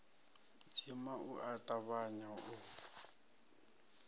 dzima u a tavhanya u